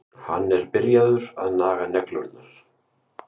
Hann er byrjaður að naga neglurnar.